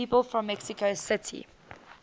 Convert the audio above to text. people from mexico city